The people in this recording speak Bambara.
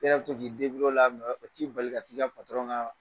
E ka to k'i la o t'i bali ka t'i ka ŋaa